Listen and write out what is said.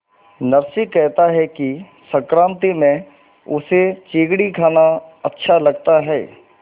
नरसी कहता है कि संक्रांति में उसे चिगडी खाना अच्छा लगता है